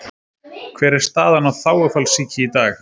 Hver er staðan á þágufallssýki í dag?